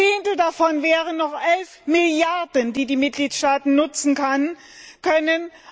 Selbst ein Zehntel davon wären noch 11 Milliarden, die die Mitgliedstaaten nutzen können.